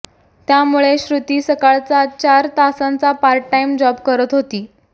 त्यामुळे श्रुती सकाळचा चार तासांचा पार्ट टाइम जॉब करत होती